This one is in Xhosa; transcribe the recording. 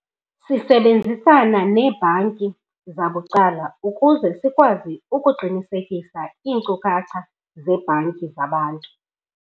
Sisebenzisana neebhanki zabucala ukuze sikwazi ukuqinisekisa iinkcukacha zebhanki zabantu.